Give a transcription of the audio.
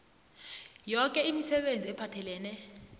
yoke imisebenzi ephathelene